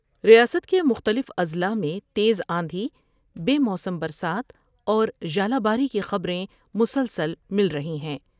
ریاست کے مختلف اضلاع میں تیز آندھی بے موسم برسات اور ژالہ باری کی خبر میں مسلسل مل رہی ہیں ۔